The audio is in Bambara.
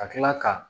Ka kila ka